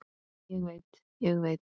Ég veit, ég veit.